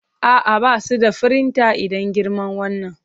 A'a, ba su da firinta idan girman wannan.